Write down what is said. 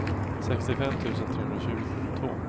sextiofem tusen trehundratjugotvå